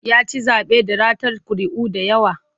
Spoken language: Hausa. Ya ci zaɓe da ratar ƙuri'u da yawa.